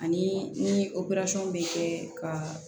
Ani ni bɛ kɛ ka